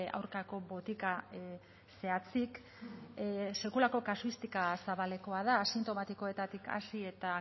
aurkako botika zehatzik sekulako kasuistika zabalekoa da asintomatikoetatik hasi eta